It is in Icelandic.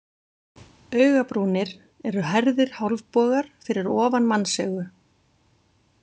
Augabrúnir eru hærðir hálfbogar fyrir ofan mannsaugu.